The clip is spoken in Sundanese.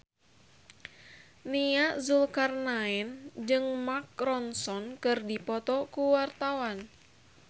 Nia Zulkarnaen jeung Mark Ronson keur dipoto ku wartawan